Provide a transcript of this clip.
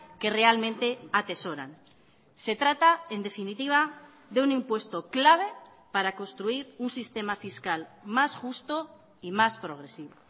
que realmente atesoran se trata en definitiva de un impuesto clave para construir un sistema fiscal más justo y más progresivo